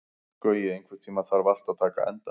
Gaui, einhvern tímann þarf allt að taka enda.